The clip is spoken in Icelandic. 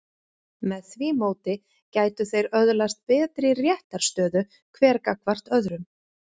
Með því móti gætu þeir öðlast betri réttarstöðu hver gagnvart öðrum.